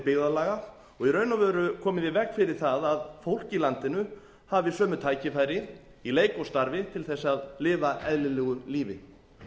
byggðarlaga og í raun og veru komið í veg fyrir það að fólk í landinu hafi sömu tækifæri í leik og starfi til þess að lifa eðlilegu lífi